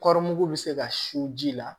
Kɔri mugu bɛ se ka su ji la